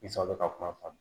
bɛ ka kuma faamu